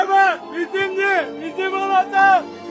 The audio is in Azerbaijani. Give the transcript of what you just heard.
Qələbə bizimdir, bizim olacaq!